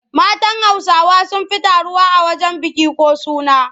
Matan Hausawa sun fi taruwa a wajen biki ko suna.